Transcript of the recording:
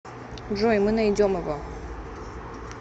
джой мы найдем его